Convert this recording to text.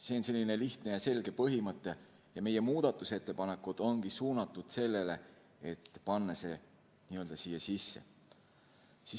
See on selline lihtne ja selge põhimõte ja meie muudatusettepanekud ongi suunatud sellele, et panna see siia sisse.